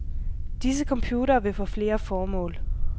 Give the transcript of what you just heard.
Disse computere vil få flere formål.